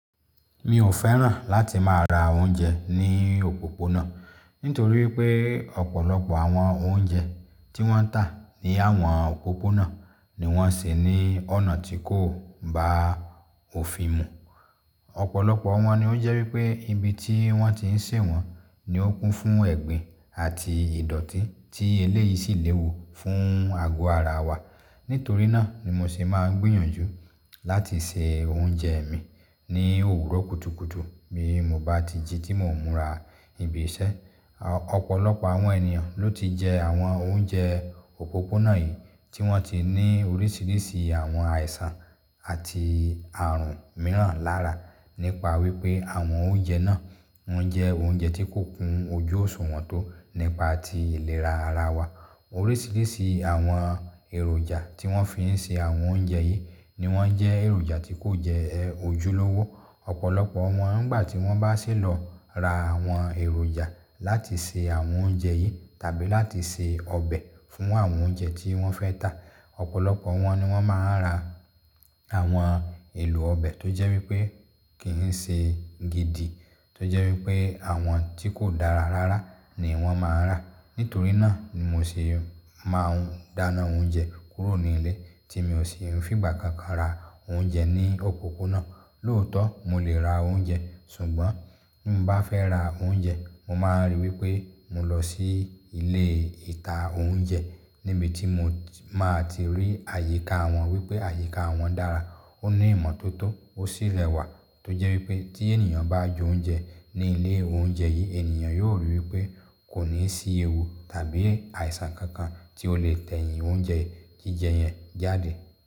Mi ò fẹ́ràn láti máa ra oúnjẹ ní òpópónà, nítorí pé ọ̀pọ̀lọpọ̀ àwọn oúnjẹ tí wọ́n ń tà ní àwọn òpópónà ni wọ́n ṣe ní ọ̀nà tí kò bá òfin mu. Ọ̀pọ̀lọpọ̀ wọn ní ó jẹ́ wípé ibi tí wọ́n ti n sè wọ́n ni ó kún fún ẹ̀gbin àti ìdòtí tí eléyìí sì léwu fún àgó ara wa. Nítorí náà ni mo ṣe máa ń gbìyànjú láti se oúnjẹ mi ní òwúrọ̀ kùtùkùtù bí mo bá ti jí tí mò ń múra ibi iṣẹ́. Ọ̀pọ̀lọpọ̀ àwọn ènìyàn ló ti jẹ àwọn oúnjẹ òpópónà yìí tí wọ́n ti ní oríṣiríṣi àwọn àìsàn àti ààrùn mìíràn lára nípa wí pé àwọn oúnjẹ náà wọ́n jẹ́ oúnjẹ tí kò kún ojú òṣùwọ̀n tó nípa ti ìlera ara wa. Oríṣiríṣi àwọn èròjà tí wọ́n fi ń ṣe àwọn oúnjẹ yìí ni wọ́n jẹ́ èròjà tí kò jẹ ojúlówó. Ọ̀pọ̀lọpọ̀ wọn nígbà tí wọ́n bá ṣe lọ ra àwọn èròjà láti ṣe àwọn oúnjẹ yìí tàbí láti ṣe ọbẹ̀ fún àwọn oúnjẹ tí wọ́n fẹ́ tà, ọ̀pọ̀lọpọ̀ wọn ni wọ́n máa ń ra àwọn èlò ọbẹ̀ tó jẹ́ wí pé kì ń ṣe gidi, tó jẹ́ wí pé àwọn tí kò dára rárá ni wọ́n máa ń rà. Nítorí náà ni mo ṣe máa ń dáná oúnjẹ kúrò nílé tí mi ò sì ń fìgbà kankan ra oúnjẹ ní òpópónà. Lóòótọ́, mo lè ra oúnjẹ, ṣùgbọ́n bí mo bá fẹ́ ra oúnjẹ, mo máa ríi wí pé mo lọ sí ilé ìta oúnjẹ níbi tí mo máa ti rí àyíká wọn wí pé àyíká wọn dára, ó ní ìmọ́tótó, ó sì rẹwà. Tó jẹ́ wí pé tí ènìyàn bá jẹ oúnjẹ ní ilé oúnjẹ yìí, ènìyàn yóò ríi wí pé kò ní sí ewu tàbí àìsàn kankan tí ó lè tẹ̀yìn oúnjẹ jíjẹ yẹn jáde.